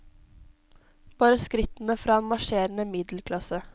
Bare skrittene fra en marsjerende middelklasse.